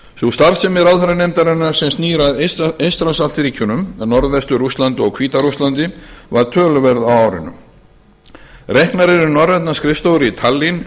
sú starfsemi ráðherranefndarinnar sem snýr að eystrasaltsríkjunum norðvestur rússlandi og hvíta rússlandi var töluverð á árinu reknar eru norrænar skrifstofur í tallinn